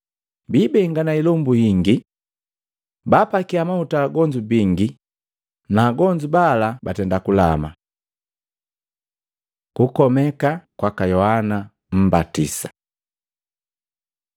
Bibengana ilombu ingi. Baapakia mahuta agonzu bingi, na agonzu bala nu kulama. Kukomeka kwaka Yohana mmbatisa Matei 14:1-12; Luka 9:7-9